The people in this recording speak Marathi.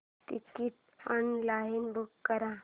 टिकीट ऑनलाइन बुक कर